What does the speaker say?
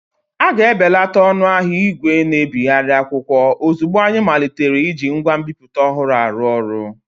A ga-ebelata ọnụ ahịa ìgwè na-ebigharị akwụkwọ ozugbo anyị malitere iji ngwa nbipute ọhụrụ arụ ọrụ.